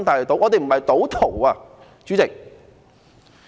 我們不是賭徒，主席。